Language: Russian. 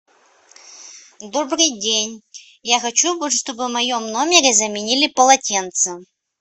добрый день я хочу чтобы в моем номере заменили полотенце